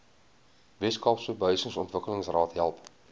weskaapse behuisingsontwikkelingsraad help